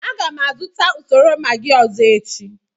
M ga-azụta usoro Maggi ọzọ echi.